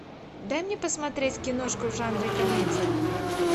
дай мне посмотреть киношку в жанре комедия